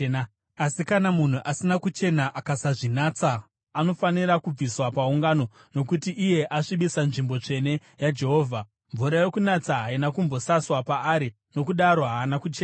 Asi kana munhu asina kuchena akasazvinatsa, anofanira kubviswa paungano, nokuti iye asvibisa nzvimbo tsvene yaJehovha. Mvura yokunatsa haina kumbosaswa paari, nokudaro haana kuchena.